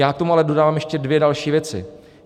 Já k tomu ale dodávám ještě dvě další věci.